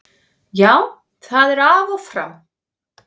Já, það er af og frá.